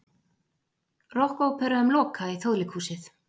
Rokkópera um Loka í Þjóðleikhúsið